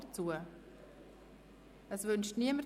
– Das ist nicht der Fall.